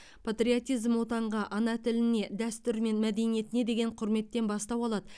патриотизм отанға ана тіліне дәстүр мен мәдениетке деген құрметтен бастау алады